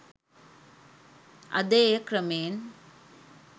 අද එය ක්‍රමයෙන්